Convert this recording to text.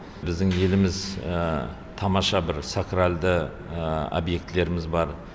біздің еліміз тамаша бір сакральды объектілеріміз бар